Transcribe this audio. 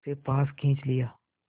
उसे पास खींच लिया